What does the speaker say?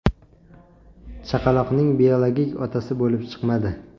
chaqaloqning biologik otasi bo‘lib chiqmadi.